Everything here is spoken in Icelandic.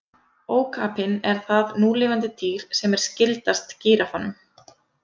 Ókapinn er það núlifandi dýr sem er skyldast gíraffanum.